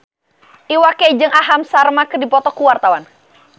Iwa K jeung Aham Sharma keur dipoto ku wartawan